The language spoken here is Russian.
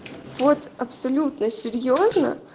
вот абсолютно серьёзно